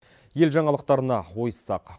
ел жаңалықтарына ойыссақ